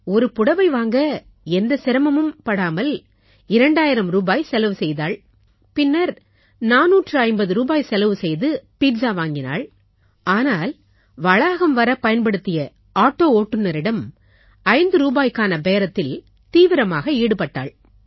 ஒரு புடவை வாங்க எந்த சிரமமும் படாமல் 2000 ரூபாய் செலவு செய்தாள் பின்னர் 450 ரூபாய் செலவு செய்து பீட்ஸா வாங்கினாள் ஆனால் வளாகம் வரப் பயன்படுத்திய ஆட்டோ ஓட்டுனரிடம் 5 ரூபாய்க்கான பேரத்தில் தீவிரமாக ஈடுபட்டாள்